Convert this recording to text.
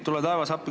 Tule taevas appi!